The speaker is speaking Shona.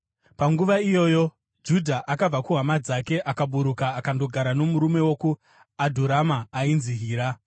Panguva iyoyo, Judha akabva kuhama dzake akaburuka akandogara nomurume wokuAdhurama ainzi Hira.